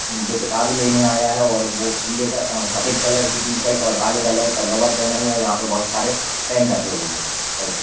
जो किताब लेने आया है और वो पीले अ सफेद कलर की टी-शर्ट और काले कलर का लोवर पहना हुआ है। यहां पे बोहोत सारे पैन रखे हुए हैं।